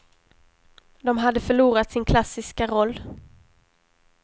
De hade förlorat sin klassiska roll.